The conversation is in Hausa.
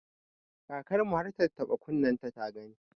Kakar mu har tattaɓa kunnenta ta gani.